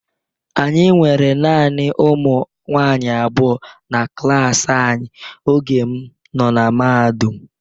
Anyị nwere naanị ụmụ nwaanyị abụọ na klaasị anyị oge m nọ na mahadum.